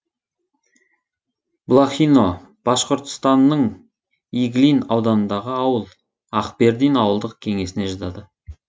блохино башқұртстанның иглин ауданындағы ауыл акбердин ауылдық кеңесіне жатады